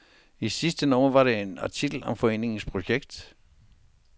I sidste nummer var der en artikel om foreningens projekt.